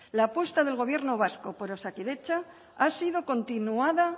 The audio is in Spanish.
la apuesta del gobierno vasco por osakidetza ha sido continuada